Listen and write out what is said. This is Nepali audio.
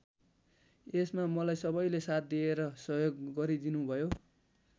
यसमा मलाई सबैले साथ दिएर सहयोग गरिदिनुभयो।